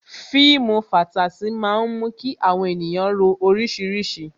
Fíìmù fatasi máa ń mú kí àwọn ènìyàn ro orísìírísìí